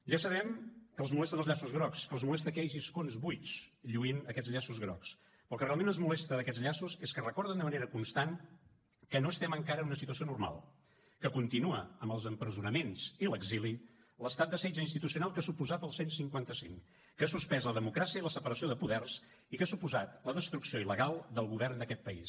ja sabem que els molesten els llaços grocs que els molesta que hi hagi escons buits lluint aquests llaços grocs però el que realment els molesta d’aquests llaços és que recorden de manera constant que no estem encara en una situació normal que continua amb els empresonaments i l’exili l’estat de setge institucional que ha suposat el cent i cinquanta cinc que ha suspès la democràcia i la separació de poders i que ha suposat la destrucció il·legal del govern d’aquest país